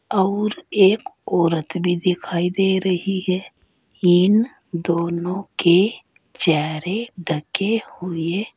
आऊर एक औरत भी दिखाई दे रही है इन दोनों के चेहरे ढके हुए--